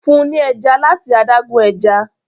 fún ní ẹja lati adágún ẹja